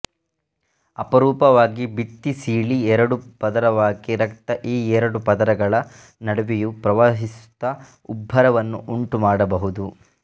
ಅಪರೂಪವಾಗಿ ಭಿತ್ತಿಸೀಳಿ ಎರಡು ಪದರವಾಗಿ ರಕ್ತ ಈ ಎರಡು ಪದರಗಳ ನಡುವೆಯೂ ಪ್ರವಹಿಸುತ್ತ ಉಬ್ಬರವನ್ನು ಉಂಟುಮಾಡಬಹುದು